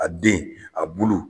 A den, a bulu